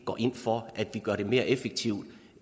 går ind for at vi gør det mere effektivt